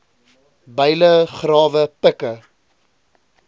byle grawe pikke